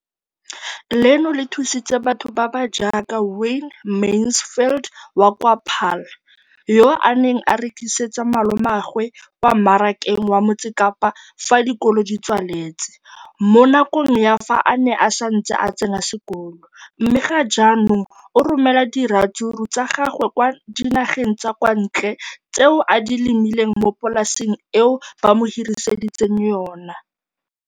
leno le thusitse batho ba ba jaaka Wayne Mansfield, 33, wa kwa Paarl, yo a neng a rekisetsa malomagwe kwa Marakeng wa Motsekapa fa dikolo di tswaletse, mo nakong ya fa a ne a santse a tsena sekolo, mme ga jaanong o romela diratsuru tsa gagwe kwa dinageng tsa kwa ntle tseo a di lemileng mo polaseng eo ba mo hiriseditseng yona.